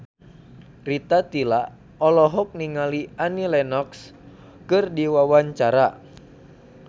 Rita Tila olohok ningali Annie Lenox keur diwawancara